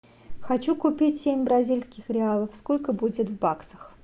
хочу купить семь бразильских реалов сколько будет в баксах